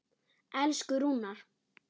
Elsku Rúnar.